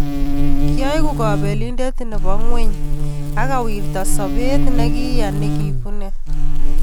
Kioek kapelindet nepo ngweny akowirta sobet nikiya che kibune.